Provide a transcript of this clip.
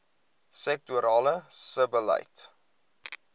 sektorale sebbeleid